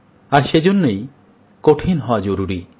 আর সেজন্যেই কঠিন হওয়া জরুরি